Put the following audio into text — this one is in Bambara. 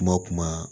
Kuma kuma